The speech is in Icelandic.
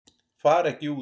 Fara ekki út